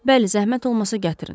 Bəli, zəhmət olmasa gətirin.